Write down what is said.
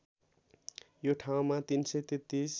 यो ठाउँमा ३३३